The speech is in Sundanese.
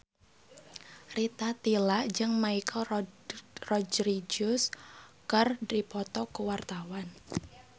Rita Tila jeung Michelle Rodriguez keur dipoto ku wartawan